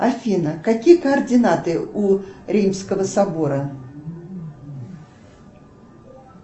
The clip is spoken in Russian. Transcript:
афина какие координаты у римского собора